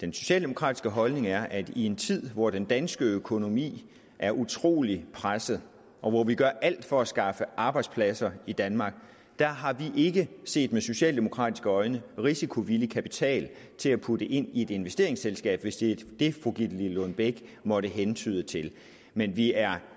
den socialdemokratiske holdning er at i en tid hvor den danske økonomi er utrolig presset og hvor vi gør alt for at skaffe arbejdspladser i danmark har vi ikke set med socialdemokratiske øjne risikovillig kapital til at putte ind i et investeringsselskab hvis det er det fru gitte lillelund bech måtte hentyde til men vi er